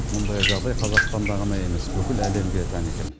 мұндай жағдай қазақстанда ғана емес бүкіл әлемге тән екен